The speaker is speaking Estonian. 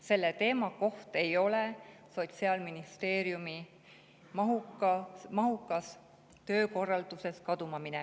See teema ei tohi Sotsiaalministeeriumi mahuka töö seas kaduma minna.